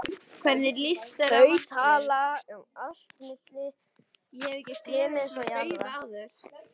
Þau tala um allt milli himins og jarðar.